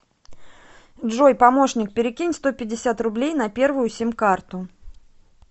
джой помощник перекинь сто пятьдесят рублей на первую сим карту